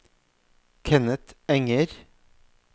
Kenneth Enger